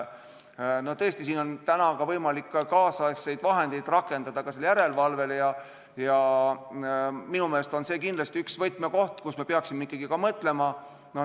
Tõesti, on võimalik ka kaasaegseid vahendeid rakendada järelevalves ja minu meelest on see kindlasti üks võtmekohti, me peaksime ikkagi selle üle mõtlema.